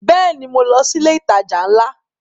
Bẹ́ẹ̀ni, mo lọ sí ilé ìtajà ńlá